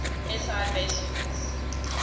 si base units